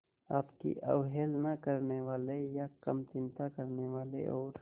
आपकी अवहेलना करने वाले या कम चिंता करने वाले और